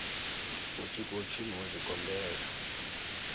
hu tshi khou tshiniwa tshigombela